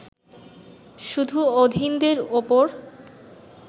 শুধু অধীনদের ওপর